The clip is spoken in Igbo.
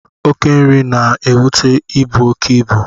Oké nri na-ebute ibu oké ibe